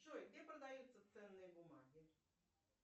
джой где продаются ценные бумаги